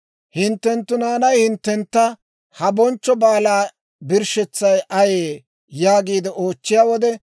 Hinttenttu naanay hinttentta, ‹Ha bonchcho baalaa birshshetsay ayee?› yaagiide oochchiyaa wode,